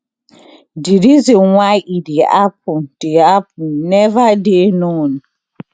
di reason why e dey happun dey happun neva dey known